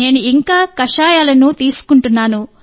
నేను ఇంకా కషాయాలను తీసుకుంటున్నాను